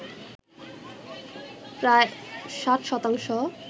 প্রায় ৬০ শতাংশ